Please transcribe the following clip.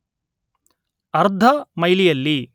ಅರ್ಧ ಮೈಲಿಯಲ್ಲಿ